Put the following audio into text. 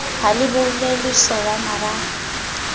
ha le boulelle sowana ba